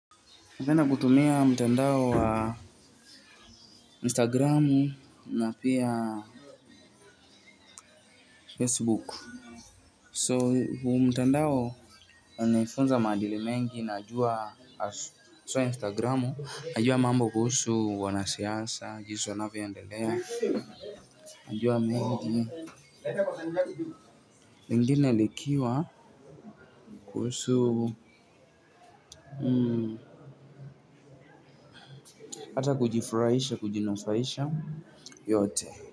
Napenda kutumia mtandao wa instagram na pia facebook. So huu mtandao naifunza maadili mengi najua so instagram najua mambo kuhusu wanasiasa jinsi wanavyoendelea najua mengi lingine likiwa kuhusu hata kujifurahisha kujinufaisha yote.